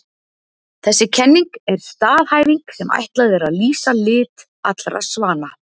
Þessi kenning er staðhæfing sem ætlað er að lýsa lit allra svana.